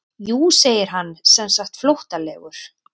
Jú segir hann semsagt flóttalegur.